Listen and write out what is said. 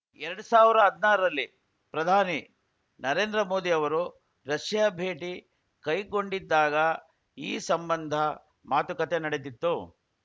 ಎರಡ್ ಸಾವಿರ ಹದಿನಾರರಲ್ಲಿ ಪ್ರಧಾನಿ ನರೇಂದ್ರ ಮೋದಿ ಅವರು ರಷ್ಯಾ ಭೇಟಿ ಕೈಗೊಂಡಿದ್ದಾಗ ಈ ಸಂಬಂಧ ಮಾತುಕತೆ ನಡೆದಿತ್ತು